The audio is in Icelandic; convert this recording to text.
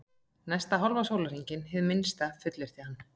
Næsta hálfa sólarhringinn, hið minnsta, fullyrti hann.